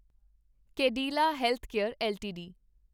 Cadila Healthcare LTD